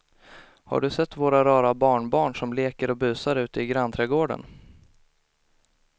Har du sett våra rara barnbarn som leker och busar ute i grannträdgården!